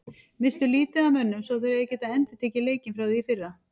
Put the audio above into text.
Misstu lítið af mönnum svo þeir eiga að geta endurtekið leikinn frá í fyrra.